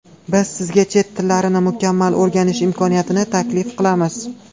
Biz sizga chet tillarini mukammal o‘rganish imkoniyatini taklif qilamiz.